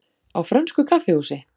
Á frönsku kaffihúsi?